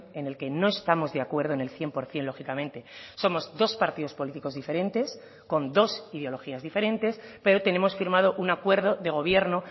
en el que no estamos de acuerdo en el cien por ciento lógicamente somos dos partidos políticos diferentes con dos ideologías diferentes pero tenemos firmado un acuerdo de gobierno